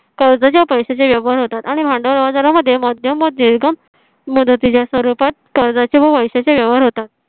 कर्जाचे व पैशाचे व्यवहार होतात आणि भांडवल बाजारामध्ये मध्यम व दीर्घ मुदतीच्या स्वरूपात कर्जाचे व पैशाचे व्यवहार होतात